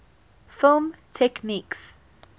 film techniques